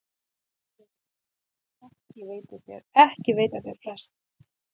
JÓHANNES: Ekki veita þeir frest.